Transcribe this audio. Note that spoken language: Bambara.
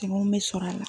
Caman bɛ sɔrɔ a la